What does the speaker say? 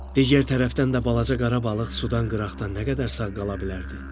Digər tərəfdən də balaca qara balıq sudan qırağa nə qədər sağ qala bilərdi?